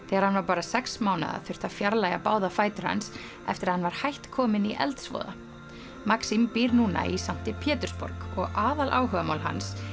þegar hann var bara sex mánaða þurfti að fjarlægja báða fætur hans eftir að hann var hætt kominn í eldsvoða býr núna í sankti Pétursborg og aðaláhugamál hans